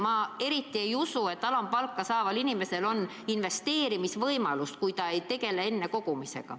Ma eriti ei usu, et alampalka saaval inimesel on investeerimisvõimalust, kui ta ei tegele enne kogumisega.